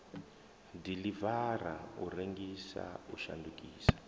diḽivara u rengisa u shandukisa